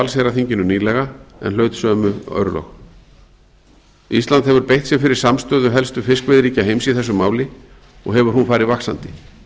allsherjarþinginu nýlega en hlaut sömu örlög ísland hefur beitt sér fyrir samstöðu helstu fiskveiðiríkja heims í þessu máli og hefur hún farið vaxandi